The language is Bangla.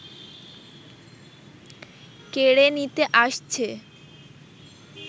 কেড়ে নিতে আসছে